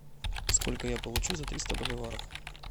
сколько я получу за триста боливаров